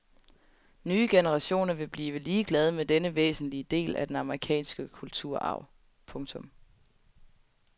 Nye generationer vil blive ligeglade med denne væsentlige del af den amerikanske kulturarv. punktum